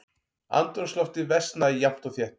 Andrúmsloftið versnaði jafnt og þétt.